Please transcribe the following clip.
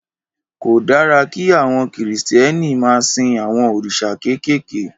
Kò dára kí àwọn kìristíèni ma sin awõn orísà kékékè.